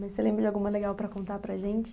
Mas você lembra de alguma legal para contar para a gente?